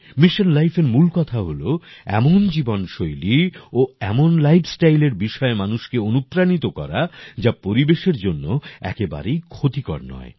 mission Lifeএর মূল কথা হলো এমন জীবনশৈলী ও এমন lifestyleএর বিষয়ে মানুষকে অনুপ্রাণিত করা যা পরিবেশের জন্য একেবারেই ক্ষতিকর নয়